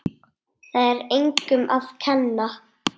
Það er engum að kenna.